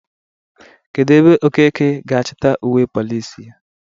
Kedu ebe Okeke ga achita uwe Polisi ya?